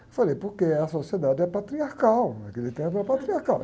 Eu falei, porque a sociedade é patriarcal, naquele tempo era patriarcal.